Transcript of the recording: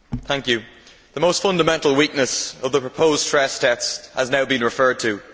Mr President, the most fundamental weakness of the proposed stress tests has now been referred to.